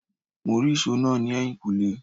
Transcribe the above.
Mó rí ìsò náà ni ẹyin kule